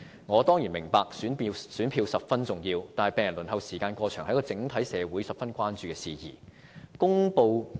我當然明白選票十分重要，但病人輪候時間過長是整個社會十分關注的事宜。